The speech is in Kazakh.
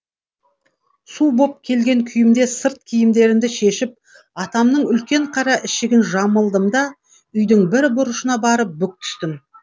су боп келген күйімде сырт киімдерімді шешіп атамның үлкен қара ішігін жамылдым да үйдің бір бұрышына барып бүк түстім